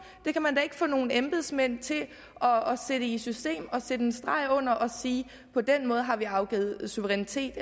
det kan man da ikke få nogle embedsmænd til at sætte i system og sætte en streg under og sige at på den måde har vi afgivet suverænitet